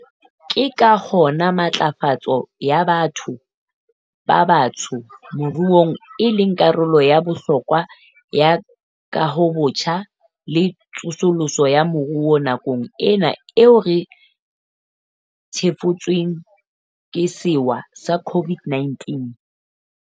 Ke ka hona matlafatso ya batho ba batsho moruong e leng karolo ya bohlokwa ya kahobotjha le tsosoloso ya moruo nakong ena eo re thefutsweng ke sewa sa COVID-19.